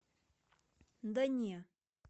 да не